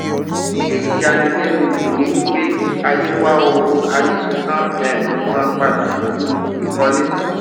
èyí ya ni lenu jù ní wípé ayé wá ohun a ní ṣe tán um san padà pẹlú ìkọlé